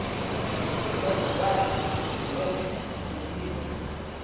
ମୋ ଛୁଆର୍ ଗୁହରେ କୁର୍ମି ହଉଚି